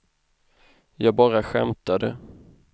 jag bara skämtade